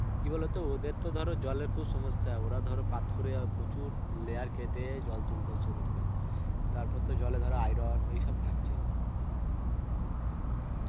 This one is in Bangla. কি বলতো ওদের তো ধরো জলের খুব সমস্যা, ওরা ধরো পাতকুড়ের প্রচুর layer কেটে জল তুলতে হচ্ছে ওদের কে তারপর তো জলে ধরো iron এসব তো থাকছেই.